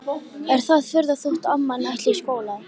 Er það furða þótt amman ætli í skóla?